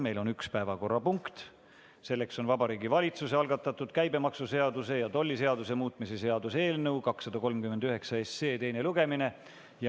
Meil on üks päevakorrapunkt, Vabariigi Valitsuse algatatud käibemaksuseaduse ja tolliseaduse muutmise seaduse eelnõu 239 teine lugemine.